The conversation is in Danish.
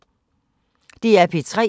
DR P3